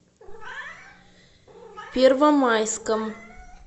первомайском